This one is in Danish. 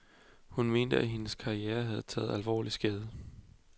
Hun mente, at hendes karrierehavde taget alvorligt skade.